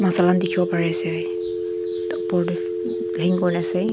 saman dikhibo pari se dupar teh ase.